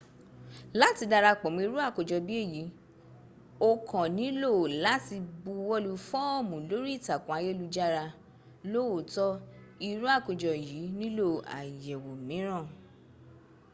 láti darapọ̀ mọ́ irú àkójọ bí èyí o kàn nílò láti buwọlu fọ́ọ̀mù lórí ìtàkùn ayélujára lóòótọ́ irú àkójọ yìí nílò àyẹ̀wò míràn